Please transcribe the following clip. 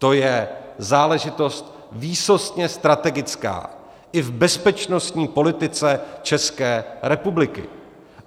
To je záležitost výsostně strategická i v bezpečnostní politice České republiky.